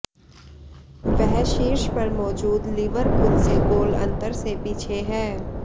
वह शीर्ष पर मौजूद लिवरपूल से गोल अंतर से पीछे है